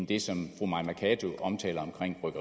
det som fru mai mercado omtaler